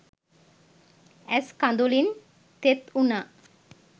ඇස් කදුළින් තෙත් උනා.